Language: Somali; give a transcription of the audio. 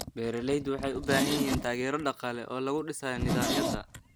Beeraleydu waxay u baahan yihiin taageero dhaqaale oo lagu dhisayo nidaamyada.